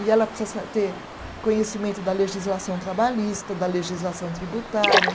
E ela precisa sa ter conhecimento da legislação trabalhista, da legislação tributária.